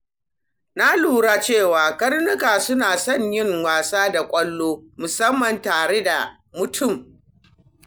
Na lura cewa karnuka suna son yin wasa da ƙwallo, musamman tare da mutum.